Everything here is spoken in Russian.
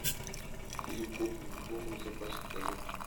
фильм копы в глубоком запасе покажи